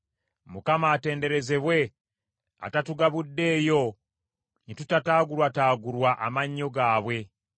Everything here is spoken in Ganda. Mukama atenderezebwe atatugabuddeeyo ne tutaagulwataagulwa amannyo gaabwe.